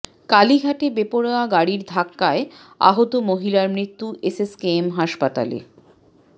কালীঘাটে বেপরোয়া গাড়ির ধাক্কায় আহত মহিলার মৃত্যু এসএসকেএম হাসপাতালে